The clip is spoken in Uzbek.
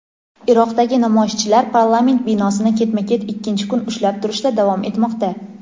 Iroqdagi namoyishchilar parlament binosini ketma-ket ikkinchi kun ushlab turishda davom etmoqda.